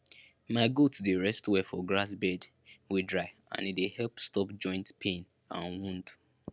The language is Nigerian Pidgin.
my goats dey rest well for grass bed wey dry and e dey help stop joint pain and wound